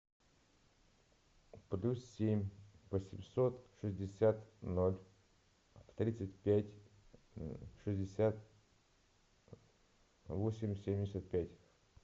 плюс семь восемьсот шестьдесят ноль тридцать пять шестьдесят восемь семьдесят пять